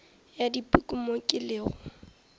ya dipuku mo ke lego